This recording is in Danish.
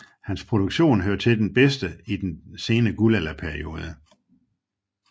Hans produktion hører til det bedste i den sene guldalderperiode